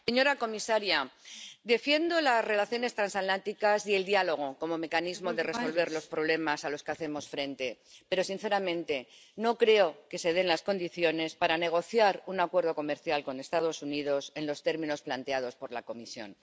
Señora presidenta, señora comisaria, defiendo las relaciones transatlánticas y el diálogo como mecanismo para resolver los problemas a los que hacemos frente, pero, sinceramente, no creo que se den las condiciones para negociar un acuerdo comercial con los Estados Unidos en los términos planteados por la Comisión.